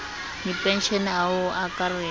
dipenshene a ho se akaretse